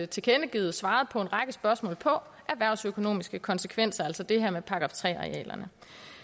tilkendegivet og svaret på en række spørgsmål om erhvervsøkonomiske konsekvenser altså det her med § tre arealerne